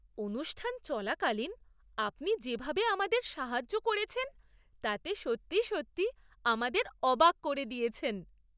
অনুষ্ঠান চলাকালীন আপনি যেভাবে আমাদের সাহায্য করেছেন তাতে সত্যি সত্যিই আমাদের অবাক করে দিয়েছেন!